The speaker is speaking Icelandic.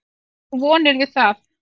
Bindur þú vonir við það?